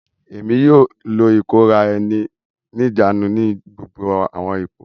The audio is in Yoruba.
Èmí yóò lo ikora-ẹni-nijaanu ni gbogbo awọn ipò.